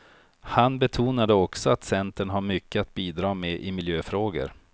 Han betonade också att centern har mycket att bidra med i miljöfrågor.